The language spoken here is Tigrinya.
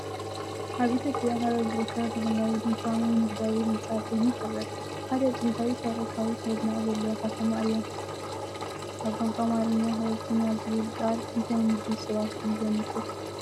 ኣብ ኢትዮጵያ ሃረር ዝርከብ ባህላዊ ድኳን ወይ ንግዳዊ ህንፃ ኣብ ቅድሚት ይርአ። ሃረር ጥንታዊ ታሪኻዊ መናድቕ ዘለዋ ከተማ እያ። ኣብ ቋንቋ ኣምሓርኛ "ሓረርተኛ" ዝብል ቃል እንታይ ምድብ ሰባት እዩ ዘመልክት?